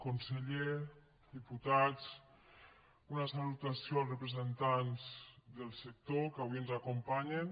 conseller diputats una salutació als representants del sector que avui ens acompanyen